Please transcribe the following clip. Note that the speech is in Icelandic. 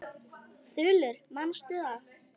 Þulur: Manstu það?